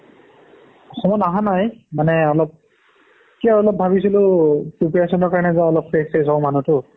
অসমত অহা নাই মানে অলপ কিয় অলপ ভাবিছিলোঁ preparation ৰ কাৰণে যাওঁ অলপ fresh ছেচ হওঁ মানুহটো